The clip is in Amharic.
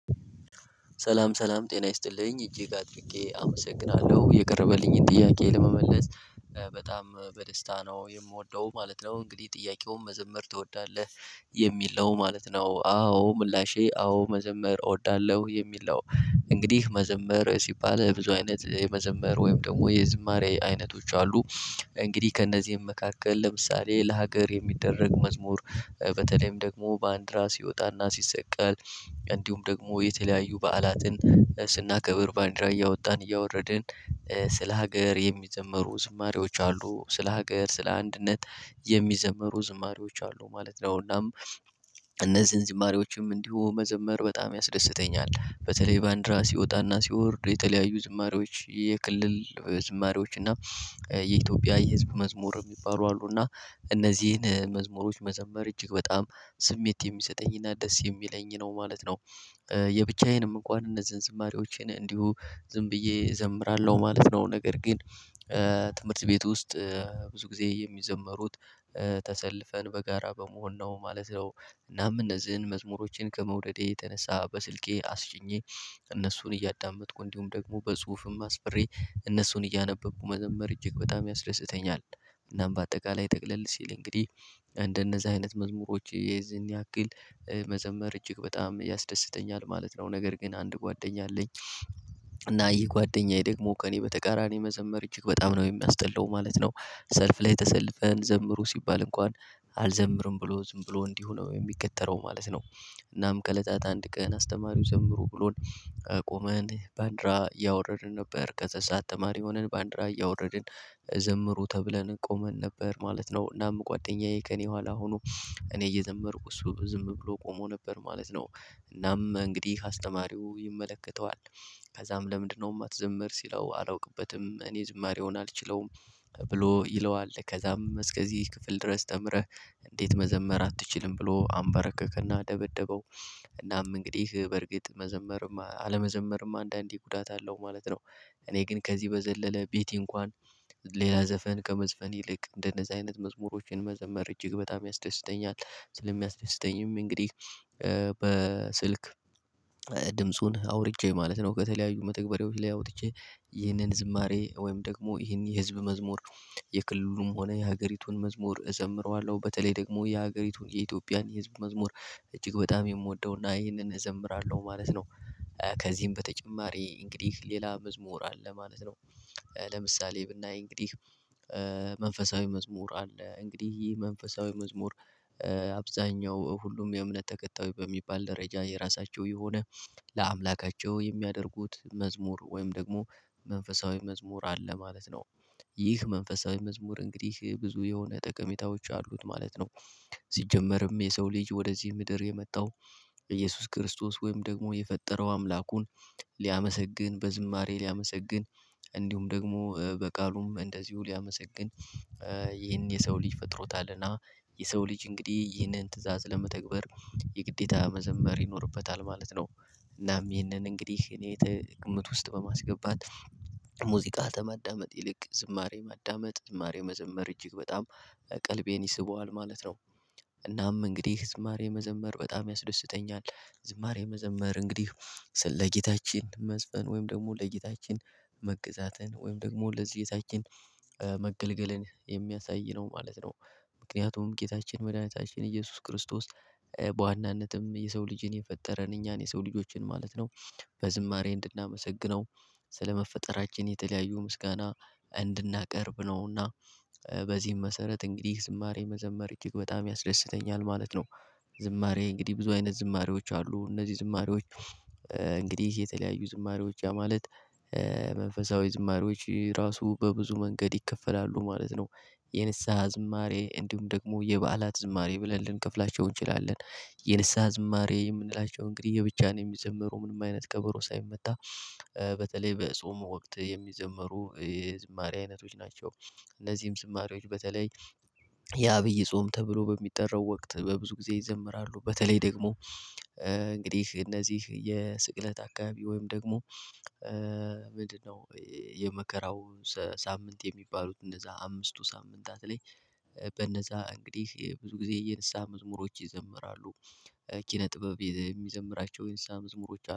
ሰላም ሰላም ጤና ይስጥልኝ እጅግ አድርጌ አመሰግናለሁ የቀረበልኝን ጥያቄ ለመመለስ በጣም በደስታ ነው የምወደው ማለት ነው። እንግዲህ ጥያቄውን መዘመር ትወዳለህ የሚል ነው ማለት ነው። አዎ ምላሼ አዎ መዘመር እወዳለሁ የሚል ነው እንግዲህ መዘመር ሲባል ብዙ አይነት የመዘመር ወይም ደግሞ የዝማሬ አይነቶች አሉ። እንግዲህ ከእነዚህም መካከል ለምሳሌ ለሀገር የሚደረግ መዝሙር በተለይም ደግሞ ባንዲራ ሲወጣና ሲሰቀል እንዲሁም ደግሞ የተለያዩ በዓላትን ስናከብር ባንዲራ እያወጣን እያወረድን ስለ ሀገር የሚዘመሩ ዝማሬዎች አሉ። ስለ ሀገር ስለ አንድነት የሚዘመሩ ዝማሬዎች አሉ ማለት ነው። እናም እነዚህን ዝማሬዎችም እንዲሁ መዘመር በጣም ያስደስተኛል። በተለይ ባንዲራ ሲወጣና ሲወርድ የተለያዩ ዝማሬዎች የክልል ዝማሬዎች እና የኢትዮጵያ የህዝብ መዝሙር የሚባሉ አሉ። እና እነዚህን መዝሙሮች መዘመር እጅግ በጣም ስሜት የሚሰጠኝና ደስ የሚለኝ ነው ማለት ነው። የብቻዬንም እንኳን እነዚህን ዝማሬዎቼን እንዲሁ ዝም ብዬ እዘምራለሁ ማለት ነው። ነገር ግን ትምህርት ቤት ውስጥ ብዙ ጊዜ የሚዘመሩት ተሰልፈን በጋራ በመሆን ነው ማለት ነው። እናም እነዚህን መዝሙሮችን ከመውደዴ የተነሳ በስልኬ አስጭኜ እነሱን እያዳመጥኩ እንዲሁም ደግሞ በጽሁፍም አስፍሬ እነሱን እያነበብኩ መዘመር እጅግ በጣም ያስደስተኛል። እናም በአጠቃላይ ጠቅለል ሲል እንግዲህ እንደነዚህ አይነት መዝሙሮች የዚህን ያክል መዘመር እጅግ በጣም ያስደስተኛል ማለት ነው። ነገር ግን አንድ ጓደኛ አለኝ እና ይሄ ጓደኛዬ ደግሞ ከእኔ በተቃራኒ መዘመር እጅግ በጣም ነው የሚያስጠላው ማለት ነው። ሰልፍ ላይ ተሰልፈን ዘምሩ ሲባል እንኳን አልዘምርም ብሎ ዝም ብሎ እንዲሁ ነው የሚከተለው ማለት ነው። እናም ከለታት አንድ ቀን አስተማሪው ዘምሩ ብሎን ቆመን ባንዲራ እያወረድን ነበር ከዛ ሰዓት ተማሪ ሆነን ባንዲራ እያወረድን ዘምሩ ተብለን ቆመን ነበር ማለት ነው። እናም ጓደኛዬ ከእኔ በኋላ ሆኖ እኔ እየዘመርኩ እሱ ዝም ብሎ ቆሞ ነበር ማለት ነው። እናም እንግዲህ አስተማሪው ይመለከተዋል። ከዛም ለምንድነው የማትዘምር ሲለው አላውቅበትም እኔ ዝማሬውን አልችለውም። ብሎ ይለዋል ከዛም እስከዚህ ክፍል ድረስ ተምረህ እንዴት መዘመር አትችልም ብሎ አንበረከከና ደበደበው። እናም እንግዲህ በእርግጥ መዘመርም አለመዘመርም አንዳንዴ ጉዳት አለው ማለት ነው። እኔ ግን ከዚህ በዘለለ ቤቴ እንኳን ሌላ ዘፈን ከመዝፈን ይልቅ እንደነዛ አይነት መዝሙሮችን መዘመር እጅግ በጣም ያስደስተኛል። ስለሚያስደስተኝም እንግዲህ በስልክ ድምፁን አውርጄ ማለት ነው። ከተለያዩ መተግበሬዎች ላይ አውጥቼ ይህንን ዝማሬ ወይም ደግሞ ይህን የህዝብ መዝሙር የክልሉም ሆነ የሀገሪቱን መዝሙር እዘምረዋለሁ በተለይ ደግሞ የሀገሪቱን የኢትዮጵያን የህዝብ መዝሙር እጅግ በጣም የምወደውና ይህንን እዘምራለሁ ማለት ነው። ከዚህም በተጨማሪ እንግዲህ ሌላ መዝሙር አለ ማለት ነው። ለምሳሌ ብናይ እንግዲህ መንፈሳዊ መዝሙር አለ እንግዲህ ይሄ መንፈሳዊ መዝሙር። አብዛኛው ሁሉም የእምነት ተከታዮች በሚባል ደረጃ የራሳቸው የሆነ ለአምላካቸው የሚያደርጉት መዝሙር ወይም ደግሞ መንፈሳዊ መዝሙር አለ ማለት ነው። ይህ መንፈሳዊ መዝሙር እንግዲህ ብዙ የሆነ ጠቀሜታዎች አሉት ማለት ነው። ሲጀመርም የሰው ልጅ ወደዚህ ምድር የመጣው ኢየሱስ ክርስቶስ ወይም ደግሞ የፈጠረው አምላኩን ሊያመሰግን በዝማሬ ሊያመሰግን ደግሞ በቃሉም እንደዚሁ ሊያመሰግን ይህን የሰው ልጅ ፈጥሮታልና የሰው እንግዲህ ይህንን ትእዛዝ ለመተግበር የግዴታ መዘመር ይኖርበታል ማለት ነው። እናም ይህንን እንግዲህ እኔ ትክምት ውስጥ በማስገባት ሙዚቃ ማዳመጥ ይልቅ ዝማሬ ማዳመጥ ዝማሬ መዘመር እጅግ በጣም ቀልቤን ይስበዋል ማለት ነው። እናም እንግዲህ ዝማሬ መዘመር በጣም ያስደስተኛል። ዝማሬ መዘመር እንግዲህ ስለ ጌታችን መዝፈን ወይም ደግሞ ለጌታችን መግዛትን ወይም ደግሞ ለዚህ ጌታችን መገልገልን የሚያሳይ ነው ማለት ነው። ምክንያቱም ጌታችን መድኃኒታችን ኢየሱስ ክርስቶስ በዋናነትም የሰው ልጅን የፈጠረን እኛን የሰው ልጆችን ማለት ነው በዝማሬ እንድናመሰግነው ስለመፈጠራችን የተለያዩ ምስጋና እንድናቀርብ ነውና በዚህም መሰረት እንግዲህ ዝማሬ መዘመር እጅግ በጣም ያስደስተኛል ማለት ነው። ዝማሬ እንግዲህ ብዙ አይነት ዝማሬዎች አሉ። እነዚህ ዝማሬዎች እንግዲህ የተለያዩ ዝማሬዎች ያ ማለት መንፈሳዊ ዝማሬዎች ራሱ በብዙ መንገድ ይከፈላሉ ማለት ነው። የንስሃ ዝማሬ እንዲሁም ደግሞ የበዓላት ዝማሬ ብለን ልንከፍላቸው እንችላለን። የንስሃ ዝማሬ የምንላቸው እንግዲህ የብቻ ነው የሚዘመሩ ምንም አይነት ከበሮ ሳይመታ በተለይ በጾም ወቅት የሚዘመሩ የዝማሬ አይነቶች ናቸው። እነዚህም ዝማሬዎች በተለይ የአብይ ጾም ተብሎ በሚጠራው ወቅት በብዙ ጊዜ ይዘምራሉ። በተለይ ደግሞ እንግዲህ እነዚህ የስቅለት አካባቢ ወይም ደግሞ ምንድነው? የመከራው ሳምንት የሚባሉት እነዛ አምስቱ ሳምንታት ላይ በነዛ እንግዲህ ብዙ ጊዜ የንስሃ መዝሙሮች ይዘመራሉ። ኪነ ጥበብ የሚዘምራቸው የንስሃ መዝሙሮች